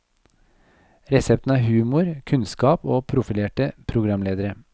Resepten er humor, kunnskap og profilerte programledere.